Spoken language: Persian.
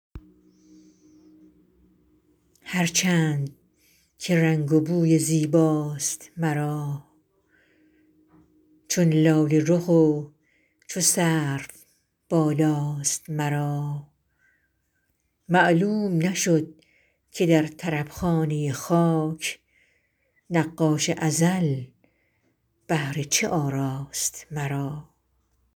هر چند که رنگ و بوی زیباست مرا چون لاله رخ و چو سرو بالاست مرا معلوم نشد که در طرب خانه خاک نقاش ازل بهر چه آراست مرا